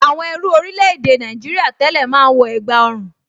Àwọn ẹrú orílẹ̀-èdè Nàìjìrìà tẹ́lẹ̀ máa ń wọ ègbá ọrùn